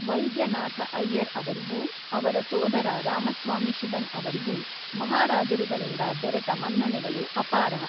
ವೈದ್ಯನಾಥಅಯ್ಯರ್ ಅವರಿಗೂ ಅವರ ಸೋದರ ರಾಮಸ್ವಾಮಿಶಿವನ್ ಅವರಿಗೂ ಮಹಾರಾಜರುಗಳಿಂದ ದೊರೆತ ಮನ್ನಣೆಗಳು ಅಪಾರ.